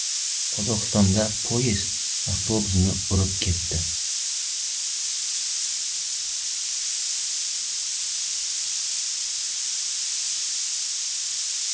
Qozog‘istonda poyezd avtobusni urib ketdi.